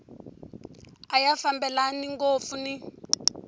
a ya fambelani ngopfu ni